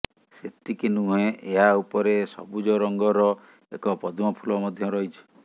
ସେତିକି ନୁହେଁ ଏହା ଉପରେ ସବୁଜ ରଙ୍ଗର ଏକ ପଦ୍ମ ଫୁଲ ମଧ୍ୟ ରହିଛି